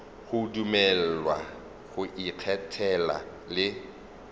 go dumelelwa go ikgethela le